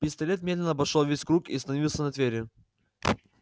пистолет медленно обошёл весь круг и остановился на твере